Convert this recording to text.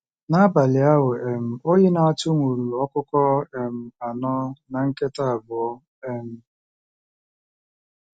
N'abalị ahụ, um oyi na-atụ nwuru ọkụkọ um anọ na nkịta abụọ um!